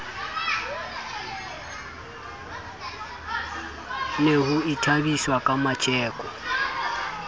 ne ho ithabiswa ka metjeko